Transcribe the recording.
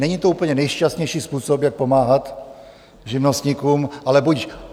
Není to úplně nejšťastnější způsob, jak pomáhat živnostníkům, ale budiž.